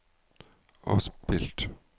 avspilt